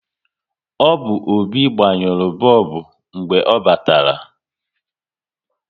Ọ bụ Obi gbanyuru bọlbụ mgbe ọ batara